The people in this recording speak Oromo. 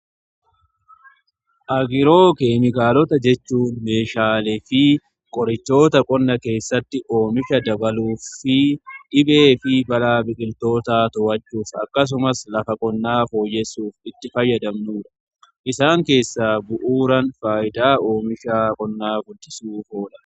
agiroo keemikaalota jechuun meeshaalee fi qorichoota qonna keessatti oomisha dabaluu, dhibee fi balaa biqiltootaa to'achuuf akkasumas lafa qonnaa fooyyessuuf itti fayyadamnuudha. isaan keessaa bu'uuran faayidaa oomisha qonnaa guddisuuf ooludha.